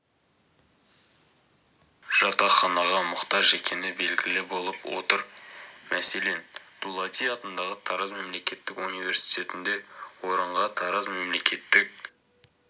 жатақханаға мұқтаж екені белгілі болып отыр мәселен дулати атындағы тараз мемлекеттік университетінде орынға тараз мемлекеттік